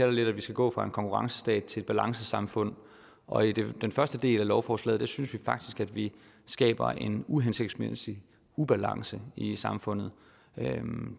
det lidt at vi skal gå fra en konkurrencestat til balancesamfund og i den første del af lovforslaget synes vi faktisk at vi skaber en uhensigtsmæssig ubalance i samfundet